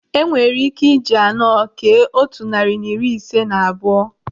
Enwere ike iji anọ kee otu narị na iri ise na abụọ.